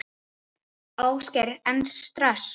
Ásgeir: Er stress?